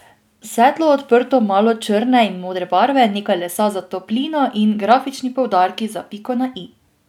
Svetlo, odprto, malo črne in modre barve, nekaj lesa za toplino in grafični poudarki za piko na i.